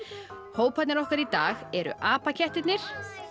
hóparnir okkar í dag eru apakettirnir